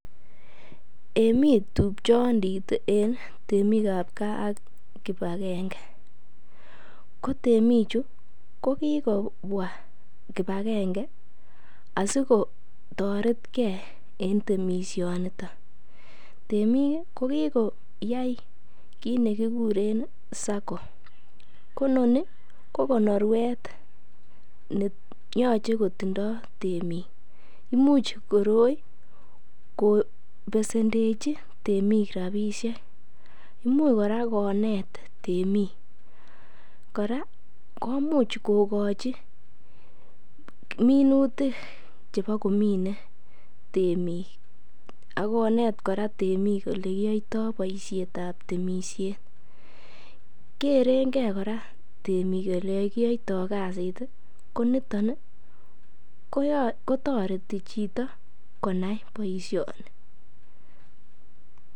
Eiy mi tupchondit en temik ab gaa ak kipagenge. Ko temichu kokikobwa kipagenge asikotoretge en temisionito. Temik ko kikoyai kit nekikuren SACCO. Ko noni ko konorwet ne yoche kotindo temik. Imuch koroi kobesendechi biik rabishek. Imuch kora konet temik. Kora komuch kogochi minutik chebo komine temik ak konet kora temik ole kiyoito boisietab temisiet. Kerenge kora temik ole kiyoito kasit. Ko niton kotoreti chito konai boisioni.